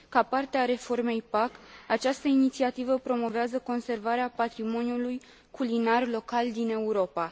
Ca parte a reformei PAC, această inițiativă promovează conservarea patrimoniului culinar local din Europa.